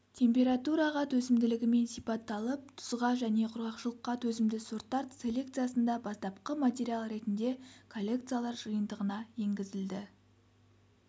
температураға төзімділігімен сипатталып тұзға және құрғақшылыққа төзімді сорттар селекциясында бастапқы материал ретінде коллекциялар жиынтығына енгізілді